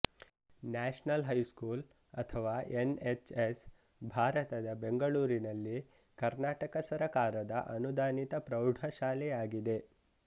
national high school ಅಥವಾ NHS ಭಾರತದ ಬೆಂಗಳೂರಿನಲ್ಲಿ ಕರ್ನಾಟಕ ಸರಕಾರದ ಅನುದಾನಿತ ಪ್ರೌಢಶಾಲೆ ಆಗಿದೆ